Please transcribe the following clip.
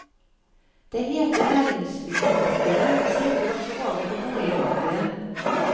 Det hete næringsbyggemarkedet smitter også over på boligmarkedet.